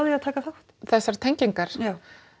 að taka þátt þessar tengingar já